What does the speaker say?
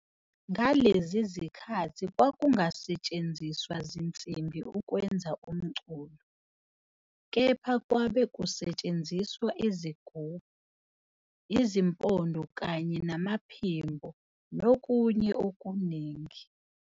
Ngalezi zikhathi kwakungasethenziswa zinsimbi ukwenza umculo, kepha kwabe kusetshenziswa izigubhu, izimpomdo kanye namaphimbo nokunye okuningi.